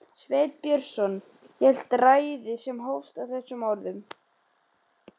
Sveinn Björnsson hélt ræðu sem hófst á þessum orðum